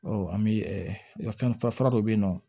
an bɛ ɛ fɛn fara dɔ bɛ yen nɔ